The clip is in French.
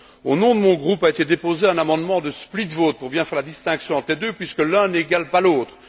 Au nom de mon groupe a été déposé un amendement de split vote pour bien faire la distinction entre les deux puisque l'un n'égale pas l'autre.